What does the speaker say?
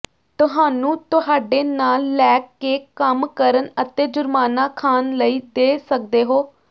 ਤੁਹਾਨੂੰ ਤੁਹਾਡੇ ਨਾਲ ਲੈ ਕੇ ਕੰਮ ਕਰਨ ਅਤੇ ਜੁਰਮਾਨਾ ਖਾਣ ਲਈ ਦੇ ਸਕਦੇ ਹੋ